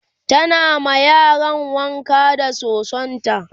tana ma yaran wanka da sosonta